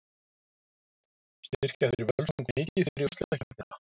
Styrkja þeir Völsung mikið fyrir úrslitakeppnina?